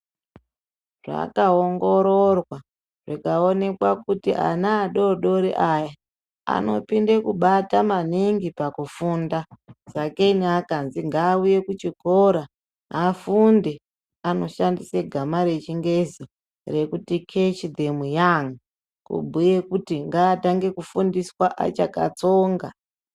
Zvakaongororwa zvikaonekwa kuti ana adoodori aya anopinde kubata maningi pakufunda sakenyi akanzi ngauye kuchikora afunde anoshandisa gama rechingezi rekuti catch them young kubhuya kuti ngaatange kufundiswa achakatsonga .